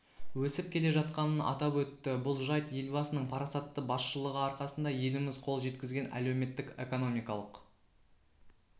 өсіп келе жатқанын атап өтті бұл жайт елбасының парасатты басшылығы арқасында еліміз қол жеткізген әлеуметтік-экономикалық